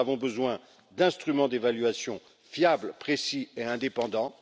Nous avons besoin d'instruments d'évaluation fiables, précis et indépendants.